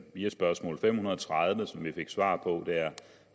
via spørgsmål fem hundrede og tredive som vi fik svar på